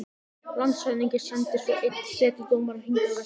Landshöfðingi sendir svo enn einn setudómara hingað vestur.